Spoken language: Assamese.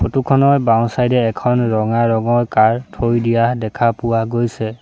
ফটো খনৰ বাওঁ চাইড এ এখন ৰঙা ৰঙৰ কাৰ থৈ দিয়া দেখা পোৱা গৈছে।